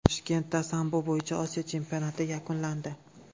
Toshkentda sambo bo‘yicha Osiyo chempionati yakunlandi.